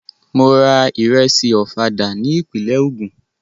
Mò ra ìrẹṣì Ọ̀fadà ní ìpínlẹ̀ Ogun.